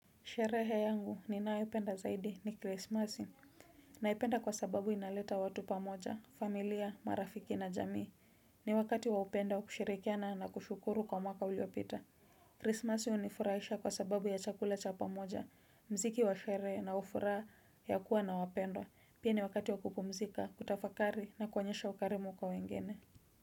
Sherehe yangu ninayopenda zaidi ni krismasi, naipenda kwa sababu inaleta watu pamoja, familia, marafiki na jamii. Ni wakati wa upendo, kushirikiana na kushukuru kwa mwaka uliopita. Krismasi hunifurahisha kwa sababu ya chakula cha pamoja, mziki wa sherehe na ufuraha ya kuwa na wapendwa. Pia ni wakati wa kupumzika, kutafakari na kuonyesha ukarimu kwa wengine.